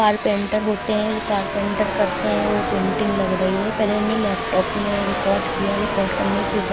carpenter होते हैं वो कारपेंटर करते हैं वो पेंटिंग लग रही है पहले लैपटॉप में रिकॉर्ड किया रिकॉर्ड करने के बाद--